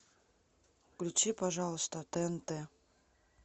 включи пожалуйста тнт